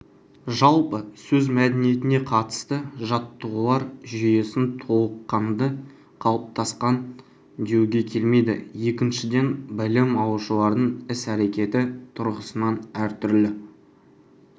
жалпы сөз мәдениетіне қатысты жаттығулар жүйесін толыққанды қалыптасқан деуге келмейді екіншіден білім алушылардың іс-әрекеті тұрғысынан әртүрлі